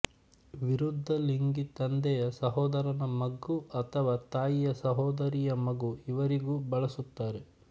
ವಿರುದ್ಧಲಿಂಗಿ ತಂದೆಯ ಸಹೋದರನ ಮಗು ಅಥವಾ ತಾಯಿಯ ಸಹೋದರಿಯ ಮಗು ಇವರಿಗೂ ಬಳಸುತ್ತಾರೆ